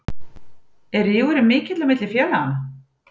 Er rígurinn mikill á milli félaganna?